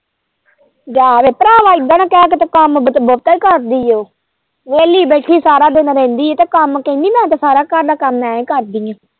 ਜਾ ਵੇ ਭਰਾਵਾਂ ਇੱਦਾ ਨਾ ਕਹਿ ਕੰਮ ਕੀਤੇ ਬਹੁਤਾ ਹੀ ਕਰਦੀ ਉਹ ਵਿਹਲ਼ੀ ਬੈਠੀ ਸਾਰਾ ਦਿਨ ਰਹਿੰਦੀ ਏ ਤੇ ਕੰਮ ਕਹਿੰਦੀ ਮੈਂ ਤੇ ਸਾਰਾ ਘਰ ਦਾ ਕੰਮ ਮੈਂ ਕਰਦੀ ਏ।